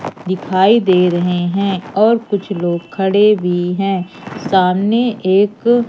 दिखाई दे रहे हैं और कुछ लोग खड़े भी हैं सामने एक--